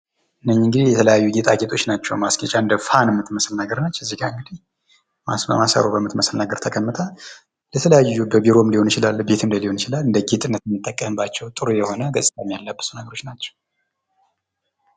እነኚህ እንግዲህ የተለያዩ ጌጣጌጦች ናቸዉ ፤ ማስጌጫ እንደ ፋን ምትመስል ነገር ነች ፤ እዚጋ እንግዲህ በማሰሮ በሚመስል ነገር ተቀምጣ ፤ ለተለያዩ ለቢሮ ሊሆን ይችላል ለቤት ሊሆን ይችላል እንደ ጌጥነት የምንጠቀምባቸዉ ጥሩ የሆነ ገጽታ የሚያላብሱ ናቸው።